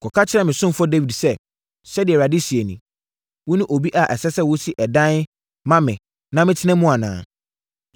“Kɔka kyerɛ me ɔsomfoɔ Dawid sɛ, ‘Sɛdeɛ Awurade seɛ nie: Wone obi a ɛsɛ sɛ wosi ɛdan ma me na metena mu anaa?